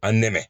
An nɛmɛnɛ